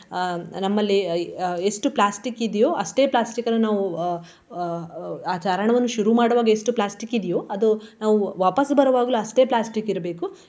ಅಹ್ ನಮ್ಮಲ್ಲಿ ಎಷ್ಟು plastic ಇದಿಯೋ ಅಷ್ಟೇ plastic ಅನ್ನು ನಾವು ಅಹ್ ಆ ಚಾರಣವನ್ನು ಶುರು ಮಾಡುವಾಗ ಎಷ್ಟು plastic ಇದಿಯೋ ಅದು ನಾವು ವಾಪಸ್ಸು ಬರುವಾಗ್ಲೂ ಅಷ್ಟೇ plastic ಇರ್ಬೇಕು.